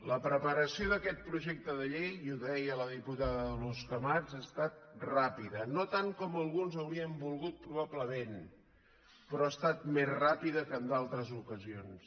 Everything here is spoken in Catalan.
la preparació d’aquest projecte de llei i ho deia la diputada dolors camats ha estat ràpida no tant com alguns haurien volgut probablement però ha estat més ràpida que en d’altres ocasions